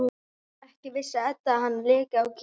Ekki vissi Edda að hann léki á gítar.